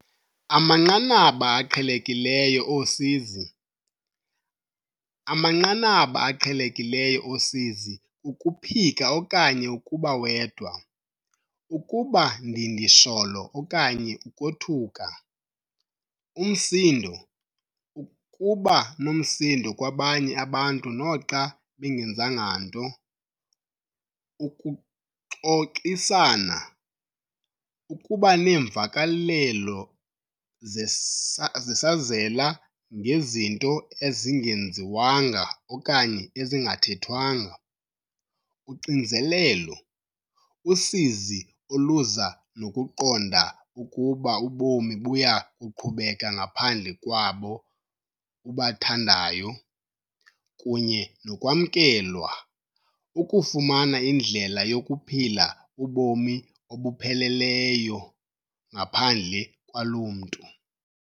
Amanqanaba aqhelekileyo osizi. Amanqanaba aqhelekileyo osizi kukuphika okanye ukuba wedwa ukuba ndindisholo okanye ukothuka umsindo ukuba nomsindo kwabanye abantu noxa bengenzanga nto ukuxoxisana ukuba neemvakalelo zesazela ngezinto ezingenziwanga okanye ezingathethwanga uxinzelelo usizi oluza nokuqonda ukuba ubomi buya kuqhubeka ngaphandle kwabo ubathandayo kunye nokwamkelwa ukufumana indlela yokuphila ubomi obupheleleyo ngaphandle kwalo mntu.